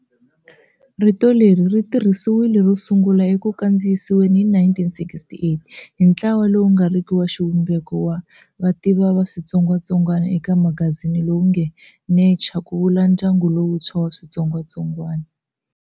Rito leri ri tirhisiwile ro sungula eku kandziyisiweni hi 1968 hi ntlawa lowu nga riki wa xivumbeko wa vativi va switsongwatsongwana eka magazini lowu nge "Nature" ku vula ndyangu lowuntshwa wa switsongwatsongwana.